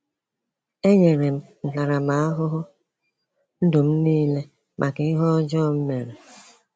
“E nyere m ntaramahụhụ ndụ m m niile maka ihe ọjọọ m mere.”